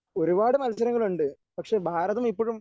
ഒരുപാട് മത്സരങ്ങളുണ്ട്. പക്ഷേ ഭാരതം ഇപ്പോഴും